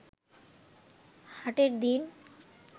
হাটের দিন